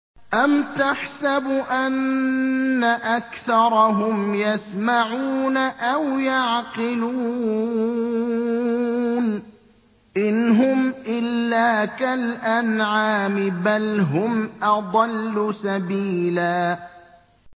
أَمْ تَحْسَبُ أَنَّ أَكْثَرَهُمْ يَسْمَعُونَ أَوْ يَعْقِلُونَ ۚ إِنْ هُمْ إِلَّا كَالْأَنْعَامِ ۖ بَلْ هُمْ أَضَلُّ سَبِيلًا